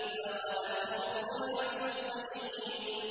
فَأَخَذَتْهُمُ الصَّيْحَةُ مُصْبِحِينَ